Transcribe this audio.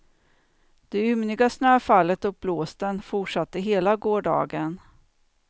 Det ymniga snöfallet och blåsten fortsatte hela gårdagen.